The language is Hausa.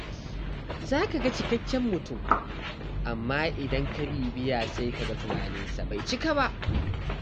Za ka ga cikakken mutum, amma idan ka bibiya sai kaga tunaninsa bai cika ba.